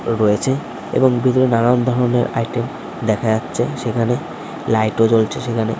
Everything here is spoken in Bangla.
রয়েছে এবং সেখানে নানান ধরণের আইটেম দেখা যাচ্ছে সেখানে লাইট জ্বলছে সেখানে ।